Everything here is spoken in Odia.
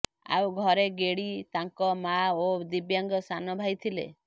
ଆଉ ଘରେ ଗେଡ଼ି ତାଙ୍କ ମାଆ ଓ ଦିବ୍ୟାଙ୍ଗ ସାନ ଭାଇ ଥିଲେ